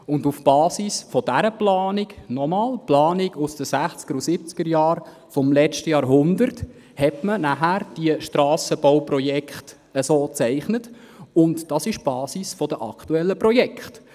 Auf der Basis dieser Planung, also der Planung aus den 1960er- und 1970er-Jahren des vergangenen Jahrhunderts, wurden dann diese Strassenbauprojekte so gezeichnet, und dies ist die Basis für das aktuelle Projekt.